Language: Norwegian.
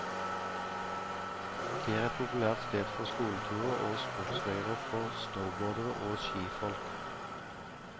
Det er et populært sted for skoleturer og sportsleirer for snowboardere og skifolk.